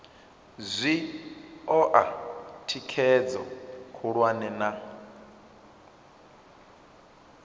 zwi oa thikhedzo khulwane na